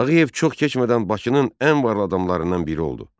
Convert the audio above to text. Tağıyev çox keçmədən Bakının ən varlı adamlarından biri oldu.